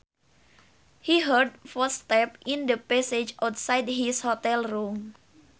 He heard footsteps in the passage outside his hotel room